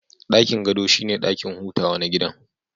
Dakin gado shine dakin hutawa na gidan